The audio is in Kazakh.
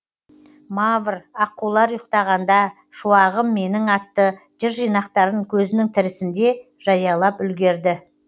мавр аққулар ұйықтағанда шуағым менің атты жыр жинақтарын көзінің тірісінде жариялап үлгерді